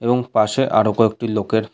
এবং পাশে আরো কয়েকটি লোকের--